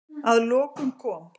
Að lokum kom